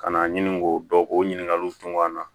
Ka na ɲini k'o dɔn k'o ɲininkaliw tunga la